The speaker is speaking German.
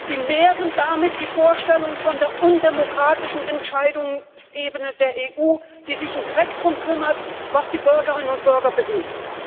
Sie nähren damit die Vorstellung von der undemokratischen Entscheidungsebene der EU, die sich einen Dreck darum kümmert, was die Bürgerinnen und Bürger bewegt.